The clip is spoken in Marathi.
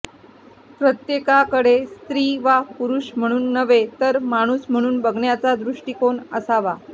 प्रत्येकाकडे स्त्री वा पुरुष म्हणून नव्हे तर माणूस म्हणून बघण्याचा दृष्टिकोन असावा